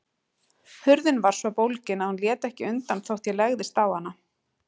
Hurðin var svo bólgin að hún lét ekki undan þótt ég legðist á hana.